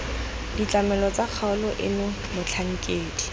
ditlamelo tsa kgaolo eno motlhankedi